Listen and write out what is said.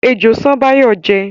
Ejò ṣán Báyọ̀ jẹ́